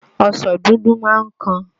Ọsàn dúdú máa ń kan